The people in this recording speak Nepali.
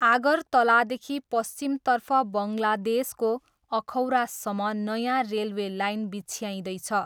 आगरतलादेखि पश्चिमतर्फ बङ्गलादेशको अखौरासम्म नयाँ रेलवे लाइन बिछ्याइँदैछ।